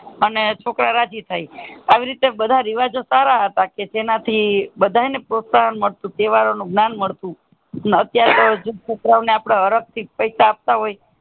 અને છોકરા રાજી થાય આવી રીતે બધા રિવાજો સારા હતા જેના થી બધા ને પ્રોસ્થાન મળતું તહેવારો નું જ્ઞાન મળતું અત્યારે તો જેમ છોકરાઓને હરક થી પૈસા આપતા હોય